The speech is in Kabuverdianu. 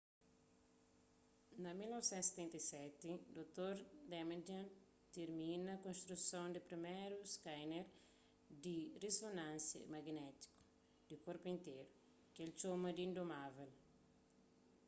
na1977 dr damadian tirmina konstruson di priméru skaner di rizonansia maginétiku di korpu interu ki el txoma di indomável